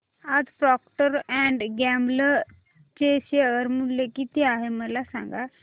आज Procter and Gamble चे share मूल्य किती आहे मला सांगा